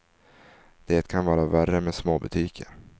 Det kan vara värre med småbutiker.